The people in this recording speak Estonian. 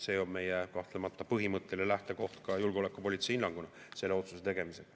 See on kahtlemata meie põhimõtteline lähtekoht ka julgeolekupoliitilise hinnanguna selle otsuse tegemisel.